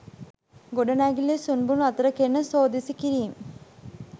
ගොඩනැගිල්ලේ සුන්බුන් අතර කෙරෙන සෝදිසි කිරීම්